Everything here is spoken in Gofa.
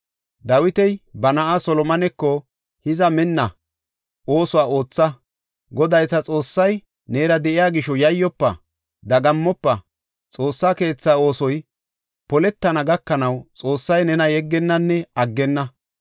Dawiti ba na7aa Solomoneko, “Hiza minna! Oosuwa ootha! Goday ta Xoossay neera de7iya gisho yayyofa; dagammofa! Xoossa keetha oosoy poletana gakanaw Xoossay nena yeggennanne aggenna.